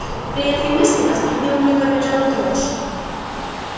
при этой мысли по спине у неё побежала дрожь